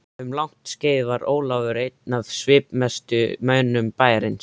Um langt skeið var Ólafur einn af svipmestu mönnum bæjarins.